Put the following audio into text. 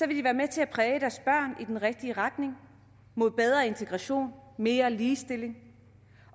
de være med til at præge deres børn i den rigtige retning mod bedre integration mere ligestilling